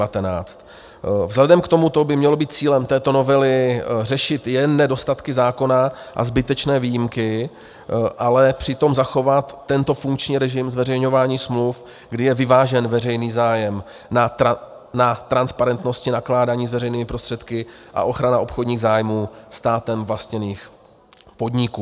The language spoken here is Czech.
Vzhledem k tomuto by mělo být cílem této novely řešit jen nedostatky zákona a zbytečné výjimky, ale přitom zachovat tento funkční režim zveřejňování smluv, kdy je vyvážen veřejný zájem na transparentnosti nakládání s veřejnými prostředky a ochrana obchodních zájmů státem vlastněných podniků.